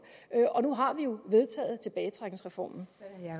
og nu har vi jo vedtaget tilbagetrækningsreformen